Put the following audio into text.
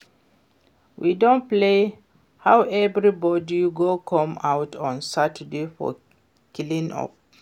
We don plan how everybody go come out on Saturday for clean up